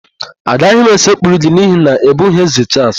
Agaghị m esekpuru gị n'ihi na ị bụghị Ézē Chaals